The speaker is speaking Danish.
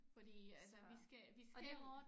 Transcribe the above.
Fordi altså vi skal vi skal